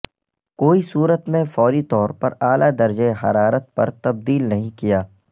کوئی صورت میں فوری طور پر اعلی درجہ حرارت پر تبدیل نہیں کیا